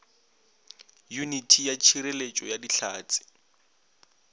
yuniti ya tšhireletšo ya dihlatse